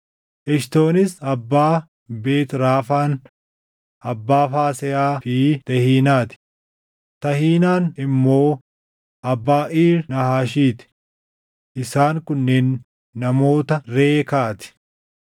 Eshitoonis abbaa Beet Raafaan, abbaa Faasehaa fi Tehiinaa ti; Tahiinaan immoo abbaa Iir Naahaashii ti. Isaan kunneen namoota Reekaa ti.